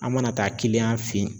An mana taa fe ye